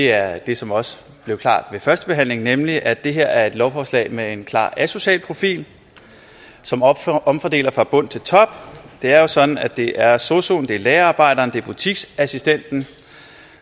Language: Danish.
er det som også blev klart ved førstebehandlingen nemlig at det her er et lovforslag med en klar asocial profil som omfordeler fra bund til top det er jo sådan at det er sosu assistenten det er lagerarbejderen det er butiksassistenten